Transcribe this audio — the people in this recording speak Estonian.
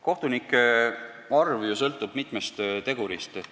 Kohtunike arv ju sõltub mitmest tegurist.